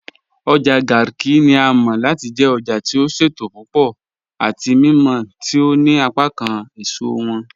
Ojá Garki ni à mọ̀ láti jẹ̀ òjá tí ó ṣétò púpọ̀ àti mímọ̀ tí ó ní apákán èṣọ wọn